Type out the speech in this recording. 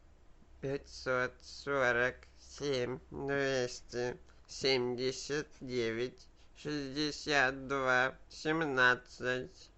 пятьсот сорок семь двести семьдесят девять шестьдесят два семнадцать